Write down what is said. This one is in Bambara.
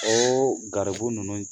O garibu ninnu